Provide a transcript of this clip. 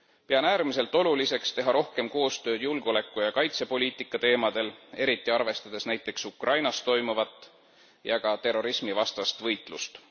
Pean äärmiselt oluliseks teha rohkem koostööd julgeoleku ja kaitsepoliitika teemadel, eriti arvestades nt Ukrainas toimuvat ja ka terrorismivastast võitlust.